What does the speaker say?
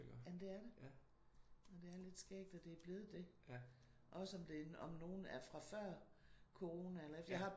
Jamen det er det. Og det er lidt skægt at det er blevet det. Også om det om nogen er før corona eller efter